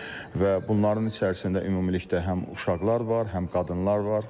Və bunların içərisində ümumilikdə həm uşaqlar var, həm qadınlar var.